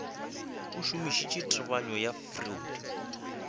a šomišitše tebanyo ya freud